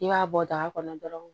I b'a bɔ daga kɔnɔ dɔrɔn